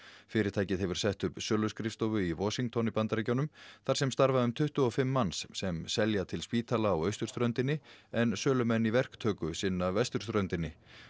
fyrirtækið hefur sett upp söluskrifstofu í Washington í Bandaríkjunum þar sem starfa um tuttugu og fimm manns sem selja til spítala á austurströndinni en sölumenn í verktöku sinna vesturströndinni